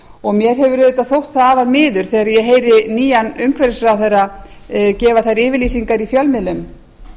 og mér hefur auðvitað þótt það afar miður þegar ég heyri nýjan umhverfisráðherra gefa þær yfirlýsingar í fjölmiðlum